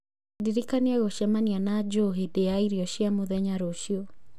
Ndirikania gũcemania na Joe hĩndĩ ya irio cia mũthenya rũciũ